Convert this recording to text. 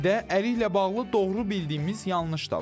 Bir də əriklə bağlı doğru bildiyimiz yanlış da var.